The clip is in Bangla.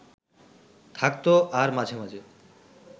থাকত আর মাঝে মাঝে